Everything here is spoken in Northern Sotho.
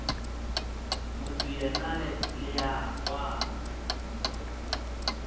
motho yena le a kwana